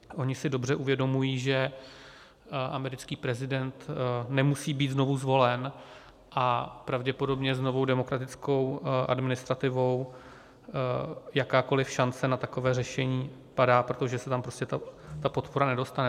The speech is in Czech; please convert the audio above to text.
Oni si dobře uvědomují, že americký prezident nemusí být znovu zvolen, a pravděpodobně s novou demokratickou administrativou jakákoliv šance na takové řešení padá, protože se tam prostě ta podpora nedostane.